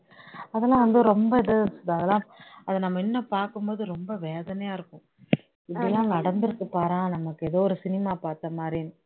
அதெல்லாம் வந்து ரொம்ப இது அதெல்லாம் அது நம்ம இன்னும் பார்க்கும் போது ரொம்ப வேதனையா இருக்கும் இப்படி எல்லாம் நடந்து இருக்கு பாரேன் நமக்கு ஏதோ ஒரு cinema பார்த்த மாதிரி